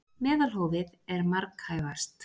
Meðalhófið er marghæfast.